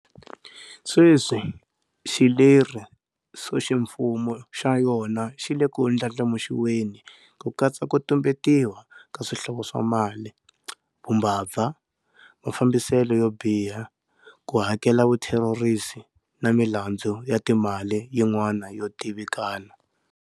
Sweswi xilerisoximfumo xa yona xi le ku ndlandlamuxiweni ku katsa ku tumbetiwa ka swihlovo swa mali, vumbabva, mafambiselo yo biha, ku hakelela vutherorisi na milandzu ya timali yin'wana yo tivikana.